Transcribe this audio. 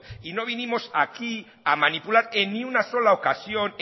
y no vinimos aquí a manipular en ni una sola ocasión